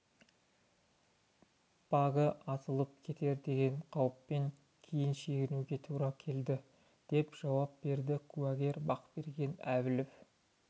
багі атылып кетер деген қауіппен кейін шегінуге тура келді деп жауап берді куәгер бақберген әбілов